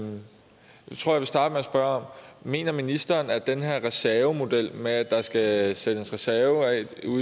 starte med at spørge om mener ministeren at den her reservemodel med at der skal sættes reserver af